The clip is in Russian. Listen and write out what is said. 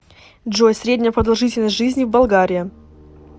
джой средняя продолжительность жизни в болгария